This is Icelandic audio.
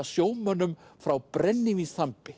sjómönnum frá